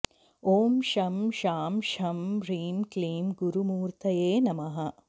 ॐ शं शां षं ह्रीं क्लीं गुरुमूर्तये नमः